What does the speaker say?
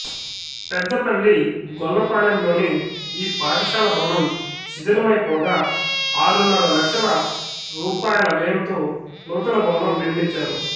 పెదపల్లి గొల్లపాలెంలోని ఈ పాఠశాల భవనం శిథిలమైపోగా ఆరున్నర లక్షల రూపాయల వ్యయంతో నూతన భవనం నిర్మించారు